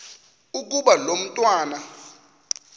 ukuba lo mntwana